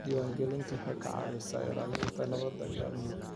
Diiwaangelintu waxay ka caawisaa ilaalinta nabadda iyo amniga.